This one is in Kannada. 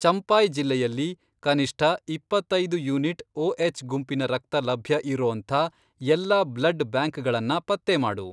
ಚಂಪಾಯ್ ಜಿಲ್ಲೆಯಲ್ಲಿ ಕನಿಷ್ಠ ಇಪ್ಪತ್ತೈದು ಯೂನಿಟ್ ಒಎಚ್ ಗುಂಪಿನ ರಕ್ತ ಲಭ್ಯ ಇರೋಂಥ ಎಲ್ಲಾ ಬ್ಲಡ್ ಬ್ಯಾಂಕ್ಗಳನ್ನ ಪತ್ತೆ ಮಾಡು.